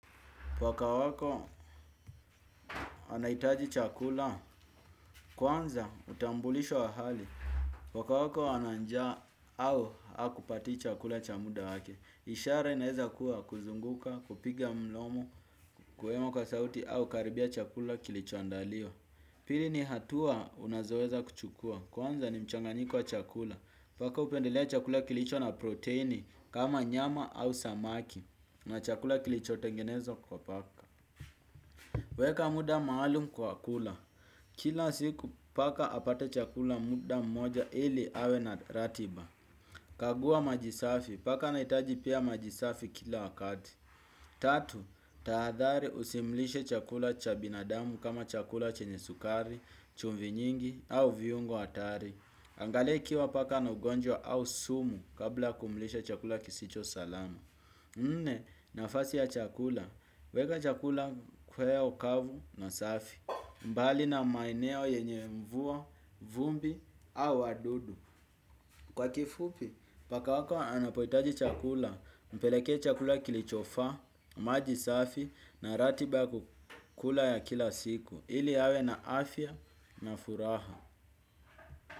Pwaka wako anahitaji chakula, kwanza utambulisho wa hali. Pwaka wako ananjaa au hakupatii chakula cha muda wake. Ishara inaeza kuwa kuzunguka, kupiga mlomo, kuhema kwa sauti au kukaribia chakula kilichoandaliwa. Pili ni hatua unazoweza kuchukua. Kwanza ni mchanganiko wa chakula. Paka hupendelea chakula kilicho na proteini kama nyama au samaki. Na chakula kilichotengenezwa kwa paka. Weka muda maalum kwa kula. Kila siku paka apate chakula muda mmoja ili awe na ratiba. Kagua maji safi. Paka anahitaji pia maji safi kila wakati. Tatu, tahadhari usimlishe chakula cha binadamu kama chakula chenye sukari, chumvi nyingi au viungo hatari. Angalia ikiwa paka anaugonjwa au sumu kabla ya kumlisha chakula kisicho salama. Nne nafasi ya chakula. Weka chakula kweo kavu na safi. Mbali na maeneo yenye mvua, vumbi au wadudu. Kwa kifupi, paka wako anapohitaji chakula. Mpelekee chakula kilichofaa, maji safi na ratiba ya kukula ya kila siku. Ili awe na afya na furaha.